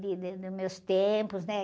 De, de, dos meus tempos, né?